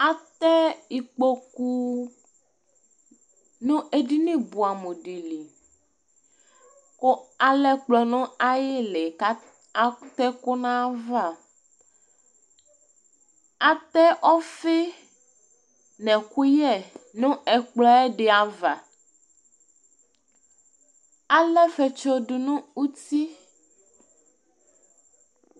ɑtɛ ĩkpõkʊ ɲɛɗiɲibụɑmụɗi kụ ɑlɛkplɔ ɲɑïli ɑtɛkụ ɲɑvɑ ɑtɛ ɔfinɛkụyẽ nɛkplõɛɗiɑvɑ ɑlɛfétsọɗụ ɲụti